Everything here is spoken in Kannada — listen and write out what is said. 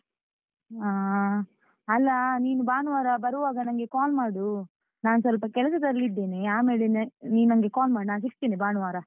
ಆ ಅಲ್ಲಾ ನೀನು ಭಾನುವಾರ ಬರುವಾಗ ನಂಗೆ call ಮಾಡು, ನಾನ್ ಸ್ವಲ್ಪ ಕೆಲ್ಸದಲ್ಲಿ ಇದ್ದೇನೇ ಆಮೇಲೆ ನೀನಂಗೆ call ಮಾಡು, ನಾನ್ ಸಿಗ್ತೇನೆ ಭಾನುವಾರ.